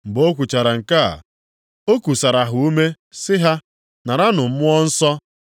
Mgbe o kwuchara nke a, o kusara ha ume sị ha, “Naranụ Mmụọ Nsọ.